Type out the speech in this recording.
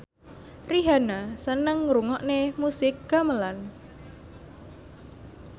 Rihanna seneng ngrungokne musik gamelan